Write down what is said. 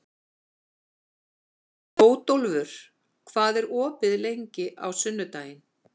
Bótólfur, hvað er opið lengi á sunnudaginn?